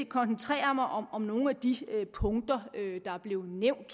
koncentrere mig om om nogle af de punkter der er blevet nævnt